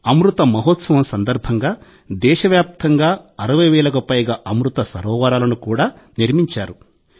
అమృత మహోత్సవం సందర్భంగా దేశవ్యాప్తంగా 60 వేలకు పైగా అమృత సరోవరాలను కూడా నిర్మించారు